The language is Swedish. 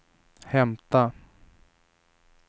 hämta